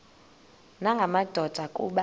nanga madoda kuba